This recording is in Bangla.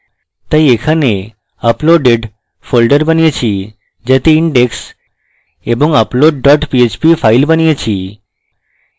তাই এখানে uploaded named folder বানিয়েছি যাতে index এবং upload dot php files বানিয়েছি